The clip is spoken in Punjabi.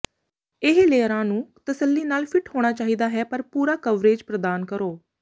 ਇਹ ਲੇਅਰਾਂ ਨੂੰ ਤਸੱਲੀ ਨਾਲ ਫਿੱਟ ਹੋਣਾ ਚਾਹੀਦਾ ਹੈ ਪਰ ਪੂਰਾ ਕਵਰੇਜ ਪ੍ਰਦਾਨ ਕਰੋ